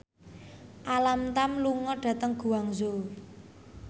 Alam Tam lunga dhateng Guangzhou